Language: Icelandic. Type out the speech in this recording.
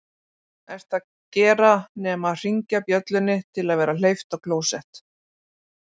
ert að gera nema hringja bjöllunni til að vera hleypt á klósett